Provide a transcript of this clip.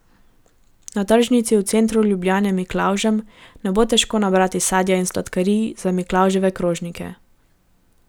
Na tržnici v centru Ljubljane Miklavžem ne bo težko nabrati sadja in sladkarij za Miklavževe krožnike.